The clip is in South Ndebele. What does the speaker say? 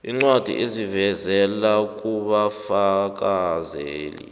iincwadi ezivela kubafakazeli